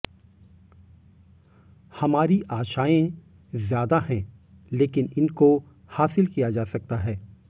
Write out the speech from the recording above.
हमारी आशाएं ज्यादा है लेकिन इनकों हासिल किया जा सकता है